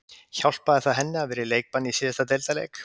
Hjálpaði það henni að hafa verið í leikbanni í síðasta deildarleik?